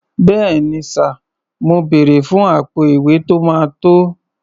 Bẹ́ẹ̀ni sà, mo bèrè fún àpò-ìwé tó máa tó.